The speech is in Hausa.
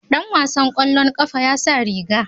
Dan wasan kwallon kafa ya sa riga.